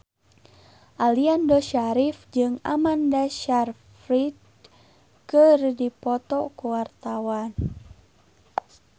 Aliando Syarif jeung Amanda Sayfried keur dipoto ku wartawan